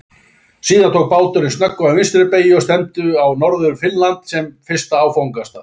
Síðan tók báturinn snögga vinstri beygju og stefndi á norður Finnland sem fyrsta áfangastað.